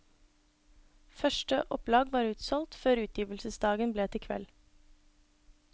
Første opplag var utsolgt før utgivelsesdagen ble til kveld.